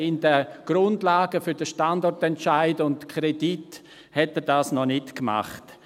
In den Grundlagen für den Standortentscheid und die Kredite hatte er das noch nicht gemacht.